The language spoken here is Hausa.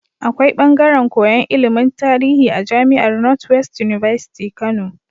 Akwai bangaren koyan ilimin tarihi a jamiar north west university Kano